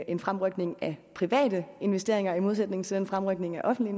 en fremrykning af private investeringer i modsætning til den fremrykning af offentlige